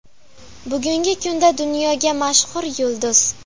Bugungi kunda dunyoga mashhur yulduz.